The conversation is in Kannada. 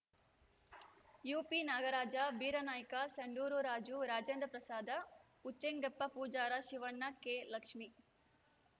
ಯುಪಿ ನಾಗರಾಜ ಬೀರಾನಾಯ್ಕ ಸಂಡೂರು ರಾಜು ರಾಜೇಂದ್ರ ಪ್ರಸಾದ ಉಚ್ಚೆಂಗೆಪ್ಪ ಪೂಜಾರ ಶಿವಣ್ಣ ಕೆಲಕ್ಷ್ಮೀ